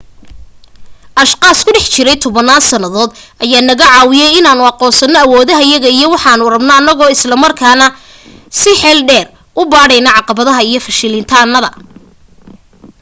ashqaas ku dhex jiray tobanaan sannadood ayaa naga caawiyay inaanu aqoonsano awoodahayaga iyo waxaanu rabno annagoo islamarkaana six eel dheer u baadhayna caqabadaha iyo fashilitaanada